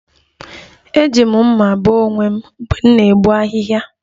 Eji m mma bee onwe m mgbe m na-egbu ahịhịa